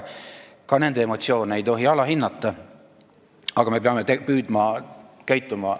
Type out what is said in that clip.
Ka nende emotsioone ei tohi alahinnata, aga me peame püüdma paremini käituda.